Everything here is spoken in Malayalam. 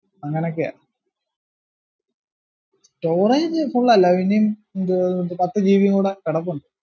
അങ്ങനൊക്കെയാ storage full അല്ല പിന്നേം ന്തുവാ പത്ത് gb കൂടാ കിടപ്പുണ്ട്